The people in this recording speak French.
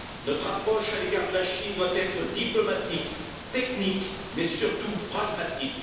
Notre approche à l'égard de la Chine doit être diplomatique, technique, mais surtout pragmatique.